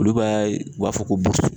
Olu b'a , u b'a fɔ ko